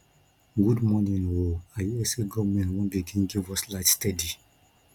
good morning o i hear sey government wan begin give us light steady